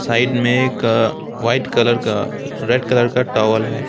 Side में एक white colour का रेड कलर का टॉवल है।